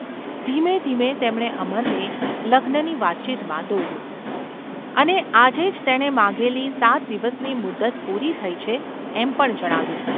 ધીમે ધીમે તેમણે અમરને લગ્નની વાતચીતમાં દોર્યો, અને આજે જ તેણે માંગેલી સાત દિવસની મુદ્દત પૂરી થઈ છે એમ પણ જણાવ્યું.